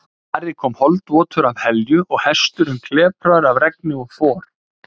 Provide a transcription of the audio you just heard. Ari kom holdvotur af Helju og hesturinn klepraður af regni og for.